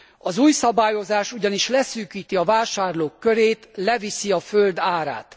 Az új szabályozás ugyanis leszűkíti a vásárlók körét, leviszi a föld árát.